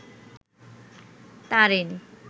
Tarin